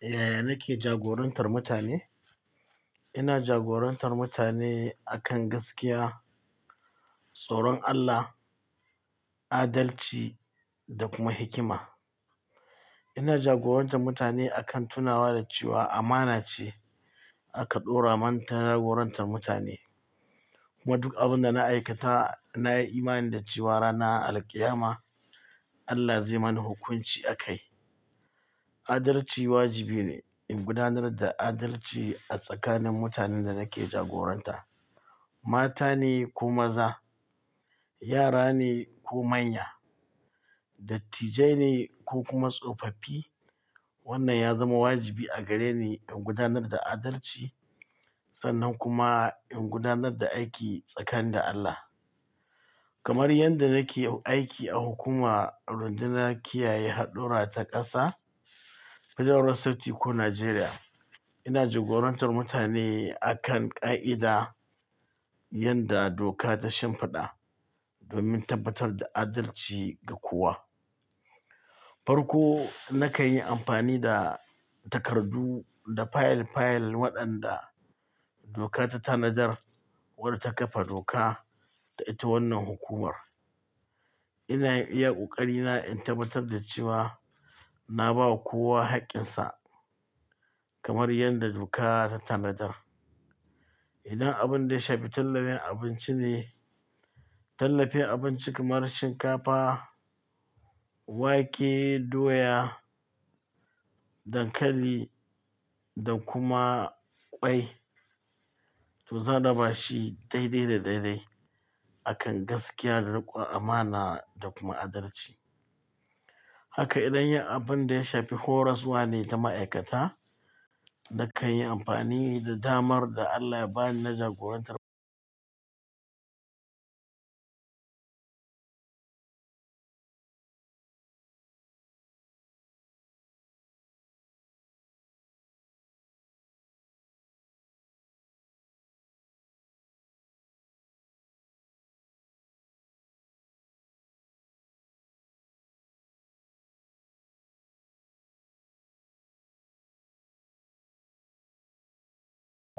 Yaya nake jagorantar mutane? Ina jagorantar mutane akan gaskiya, tsoron Allah, adalci da kuma hikima. Ina jagorantar mutane akan tunawa da cewa amana ce aka ɗora mana ta jagorantar mutane. Kuma duk abin da na aikata, na yi imani da cewa rana alqiyama Allah zai mani hukunci a kai. Adalci wajibi ne in gudanar da adalci a tsakanin mutanen da nake jagoranta. Mata ne ko maza, yara ne ko manya, dattijai ne ko kuma tsofaffi. Wannan ya zama wajibi a gare ni in gudanar da adalci sannan kuma in gudanar da aiki tsakani da Allah. Kamar yadda nake aiki a hukumar rundunar kiyaye haɗura ta ƙasa, Federal Road Safety korporation Nigeria. Ina jagorantar mutane akan ƙa'ida yadda doka ta shimfiɗa domin tabbatar da adalci ga kowa. Farko nakan yi amfani da takardu da fayil fayil waɗanda doka ta tanadar wata ƙafa doka ta ita wannan hukumar. Ina iya ƙoƙari na in tabbatar da cewa na ba kowa haƙƙinsa kamar yadda doka ta tanadar. Idan abin da ya shafi tallafen abinci ne, tallafen abinci kamar shinkafa, wake, doya, dankali da kuma ƙwai to za'a raba shi daidai da daidai akan gaskiya da riƙon amana da kuma adalci. Haka idan yi abin da ya shafi horaswa ne ta ma'aikata, da kan yi amfani da damar da Allah ya ba ni na jagorantar.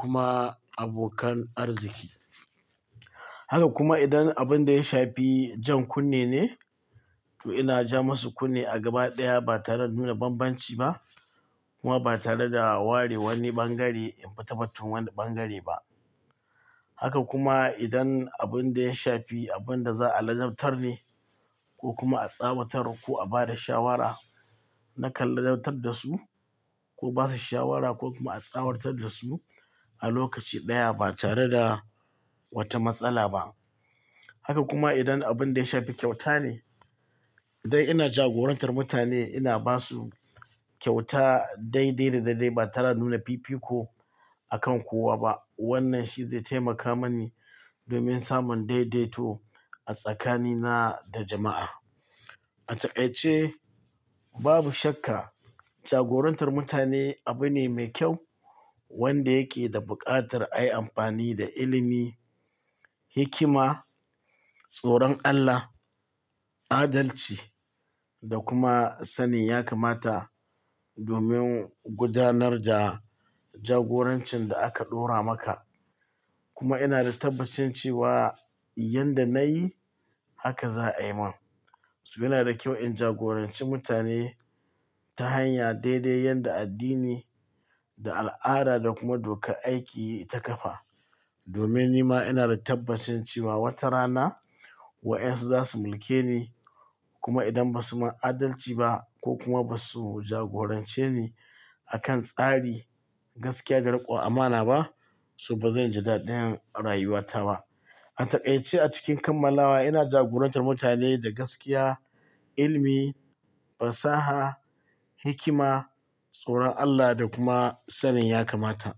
Kuma abokan arziki. Haka kuma idan abin da ya shafi jan kunne ne, to ina ja masu kunne a gaba ɗaya ba tare da nuna banbanci ba kuma ba tare da ware wani bangare in ba tabbatun wanda bangare ba. Haka kuma idan abin da ya shafi abin da za'a ladabtar ne ko kuma a tsawatar ko a ba da shawara, na kan ladabtar da su ko ba su shawara ko kuma a tsawatar da su a lokaci ɗaya ba tare da wata matsala ba. Haka kuma idan abin da ya shafi kyauta ne dai ina jagorantar mutane, ina ba su kyauta daidai da daidai ba tare da nuna fifiko akan kowa ba. Wannan shi zai taimaka mani domin samun daidaito a tsakanina da jama'a. A takaice babu shakka jagorantar mutane abu ne mai kyau wanda yake da buƙatar a yi amfani da ilimi, hikima, tsoron Allah, adalci da kuma sanin yakamata domin gudanar da jagorancin da aka ɗora maka. Kuma ina da tabbacin cewa yanda na yi, haka za a yi min. So yana da kyau in jagoranci mutane ta hanya daidai yanda addini da al'ada da kuma dokar aiki ta ƙafa. Domin ni ma ina da tabbacin cewa wata rana wayensu za su mulke ni. Kuma idan ba su ma adalci ba ko kuma ba su jagorance ni a kan tsari, gaskiya da riƙon amana ba, so ba zan ji dadin rayuwata ba. A takaice a cikin kammalawa ina jagorantar mutane da gaskiya, ilimi, fasaha, hikima, tsoron Allah da kuma sanin yakamata.